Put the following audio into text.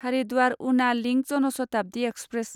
हारिद्वार उना link Janshatabdi express